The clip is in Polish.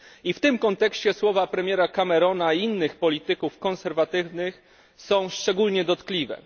W tym kontekście słowa premiera Camerona i innych polityków konserwatywnych są szczególnie dotkliwe.